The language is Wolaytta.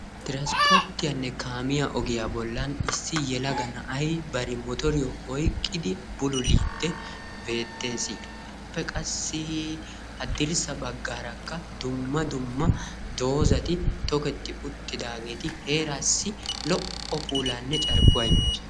Tiranspporttiyanne kaamiya ogiyaa bollan issi yelaga na'aay bari motoriyo oyqqidi bululidi beetees. Appe qassi haddirssa baggaaraka dumma dumma dozati tokketi uttidageti heerasi lo'o puulaane carkkuwa immosona.